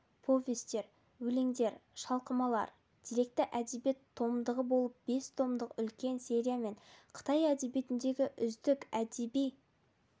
повестер өлеңдер шалқымалар деректі әдебиет томдығы болып бес томдық үлкен сериямен қытай әдебиетіндегі үздік әдеби